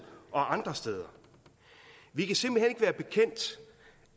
og andre steder vi kan simpelt hen ikke være bekendt